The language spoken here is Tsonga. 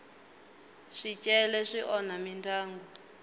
swicele swi onha mindyangu